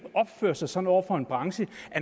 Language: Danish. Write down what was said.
opføre sig sådan over for en branche